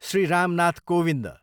Shri Ram Nath Kovind